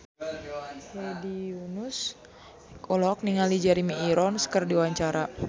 Hedi Yunus olohok ningali Jeremy Irons keur diwawancara